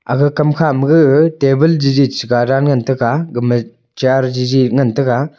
aga kam kha ma gaga table jeje ga chi dan ngan tega gama chair jeje ngan tega.